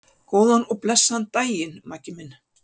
Góðan og blessaðan daginn, Maggi minn.